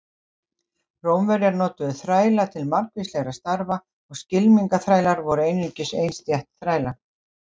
Rómverjar notuðu þræla til margvíslegra starfa og skylmingaþrælar voru einungis ein stétt þræla.